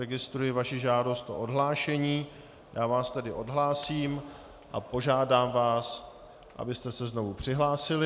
Registruji vaši žádost o odhlášení, já vás tedy odhlásím a požádám vás, abyste se znovu přihlásili.